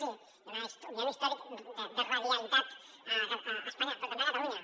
sí hi ha un històric de radialitat a espanya però també a catalunya